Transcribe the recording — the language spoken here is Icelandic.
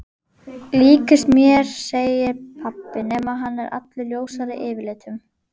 Líkist mér segir pabbi nema hann er allur ljósari yfirlitum.